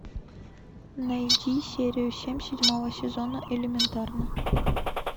найди серию семь седьмого сезона элементарно